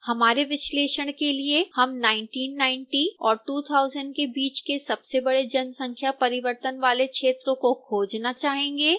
हमारे विश्लेषण के लिए हम 1990 और 2000 के बीच के सबसे बड़े जनसंख्या परिवर्तन वाले क्षेत्रों को खोजना चाहेंगे